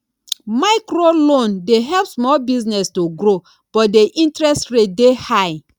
microloan dey help small business to grow but di interest rate dey high